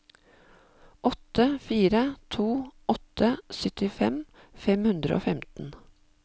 åtte fire to åtte syttitre fem hundre og femten